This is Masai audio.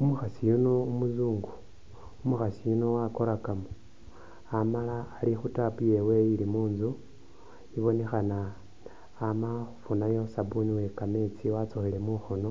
Umukhasi yuno umuzungu umukhasi yuno wakorakamo amala ali khu tap yewe ili muntsu ibonekhana ama khufunayo sabuni uwe kametsi watsukhile mukhono